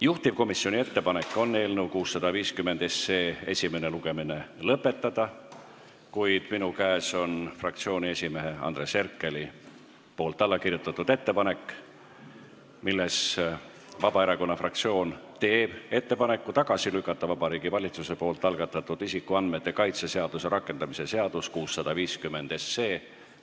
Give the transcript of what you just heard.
Juhtivkomisjoni ettepanek on eelnõu 650 esimene lugemine lõpetada, kuid minu käes on fraktsiooni esimehe Andres Herkeli allakirjutatud kiri, milles Vabaerakonna fraktsioon teeb ettepaneku Vabariigi Valitsuse algatatud isikuandmete kaitse seaduse rakendamise seaduse eelnõu 650 tagasi lükata.